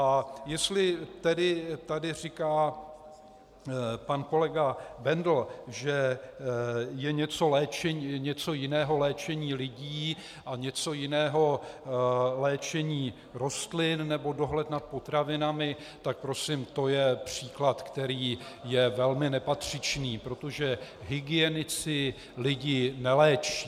A jestli tedy tady říká pan kolega Bendl, že je něco jiného léčení lidí a něco jiného léčení rostlin nebo dohled nad potravinami, tak prosím to je příklad, který je velmi nepatřičný, protože hygienici lidi neléčí.